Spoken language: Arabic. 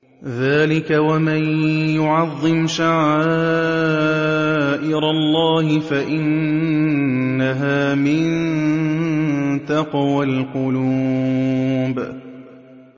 ذَٰلِكَ وَمَن يُعَظِّمْ شَعَائِرَ اللَّهِ فَإِنَّهَا مِن تَقْوَى الْقُلُوبِ